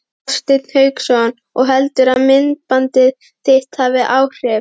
Hafsteinn Hauksson: Og heldurðu að myndbandið þitt hafi áhrif?